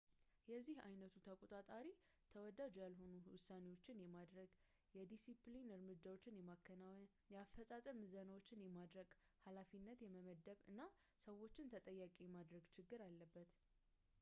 የዚህ ዓይነቱ ተቆጣጣሪ ተወዳጅ ያልሆኑ ውሳኔዎችን የማድረግ ፣ የዲሲፕሊን እርምጃዎችን የማከናወን ፣ የአፈፃፀም ምዘናዎችን የማድረግ ፣ ኃላፊነትን የመመደብ እና ሰዎችን ተጠያቂ የማድረግ ችግር አለበት